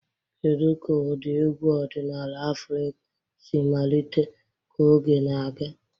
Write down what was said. Kedu ka ụda egwu ọdịnala Afrịka siri malite ka oge na-aga?